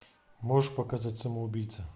можешь показать самоубийца